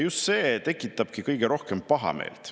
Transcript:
Just see tekitabki kõige rohkem pahameelt.